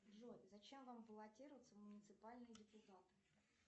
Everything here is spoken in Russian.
джой зачем вам баллотироваться в муниципальные депутаты